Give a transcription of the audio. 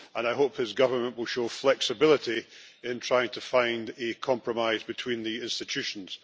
I hope his government will show flexibility in trying to find a compromise between the institutions.